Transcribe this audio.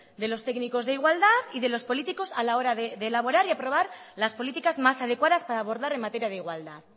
de los técnicos de igualdad y de los políticos a la hora elaborar y aprobar las políticas más adecuadas para abordar en materia de igualdad